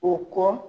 O kɔ